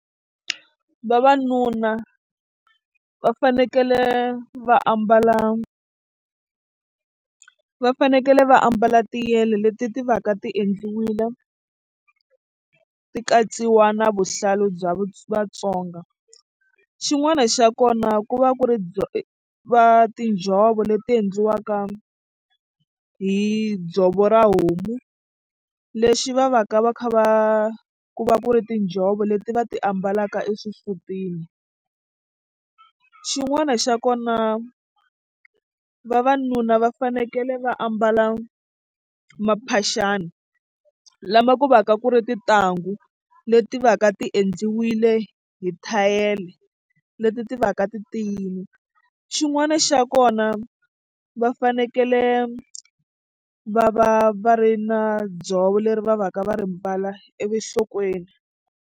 Vavanuna va fanekele va ambala va fanekele va ambala tiyele leti ti va ka ti endliwile ti katsiwa na vuhlalu bya Vatsonga xin'wana xa kona ku va ku ri va tinjhovo leti endliwaka hi dzovo ra homu lexi va va ka va kha va ku va ku ri tinjhovo leti va ti ambalaka exisutini xin'wana xa kona vavanuna va fanekele va ambala maphaxani lama ku va ka ku ri tintangu leti va ka ti endliwile hi thayele leti ti va ka titiyile xin'wana xa kona va fanekele va va va ri na dzovo leri va va ka va ri mbala enhlokweni.